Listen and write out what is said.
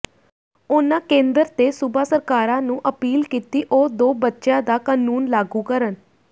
ਉਨ੍ਹਾਂ ਕੇਂਦਰ ਤੇ ਸੂਬਾ ਸਰਕਾਰਾਂ ਨੂੰ ਅਪੀਲ ਕੀਤੀ ਉਹ ਦੋ ਬੱਚਿਆਂ ਦਾ ਕਾਨੂੰਨ ਲਾਗੂ ਕਰਨ